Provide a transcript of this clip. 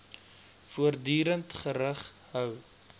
voortdurend gerig hou